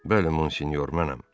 Bəli, Monsinyor, mənəm.